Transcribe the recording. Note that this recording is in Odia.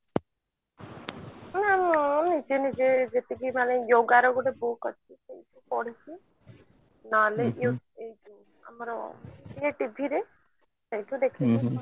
ନାଇଁ ନିଜେ ନିଜେ ଯେତିକି ମାନେ yoga ର ଗୋଟେ book ଅଛି ପଢିଛି ନେହେଲ ଆମର TV ରେ ସେଇଥିରୁ ଦେଖିକି